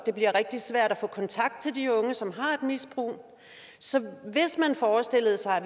bliver rigtig svært at få kontakt til de unge som har et misbrug så hvis man forestillede sig at